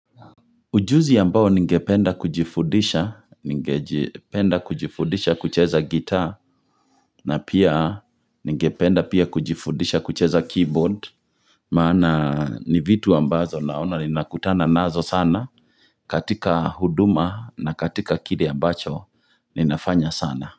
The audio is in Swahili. Ujuzi ambao ningependa kujifudisha kucheza gita, na pia ningependa pia kujifudisha kucheza keyboard, maana ni vitu ambazo naona ninakutana nazo sana, katika huduma na katika kire abmacho ninafanya sana.